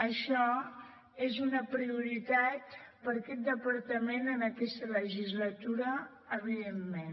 això és una prioritat per aquest departament en aquest legislatura evidentment